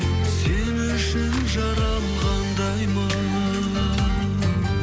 сен үшін жаралғандаймын